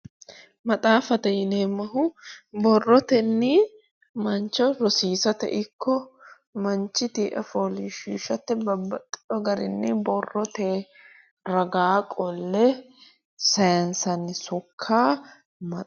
Maxaaffate yineemmohu borrotenni mancho rosiisate ikko manchu tii"a fooliishshiishate babbaxxeewo garinni borrote ragaa qolle sayiinsanni sokka